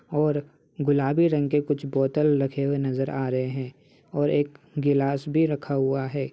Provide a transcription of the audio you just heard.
और गुलाबी रंग के कुछ बोतल रखे हुए नजर आ रहे हैं और एक गिलास भी रखा हुआ है।